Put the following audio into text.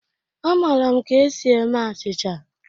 Amara m ka esi eme achịcha